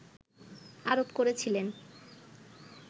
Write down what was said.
আরোপ করেছিলেন